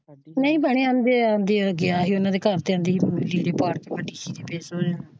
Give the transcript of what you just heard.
ਨਹੀਂ ਭੈਣੇ ਗਿਆ ਸੀ ਉਹਨਾਂ ਦੇ ਘਰ ਤੇ ਤੇ ਬੈਠੀ ਸੀ ਤੇ ਫੇਰ।